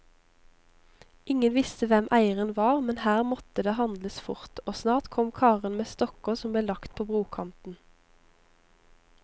Ingen visste hvem eieren var, men her måtte det handles fort, og snart kom karene med stokker som ble lagt på brokanten.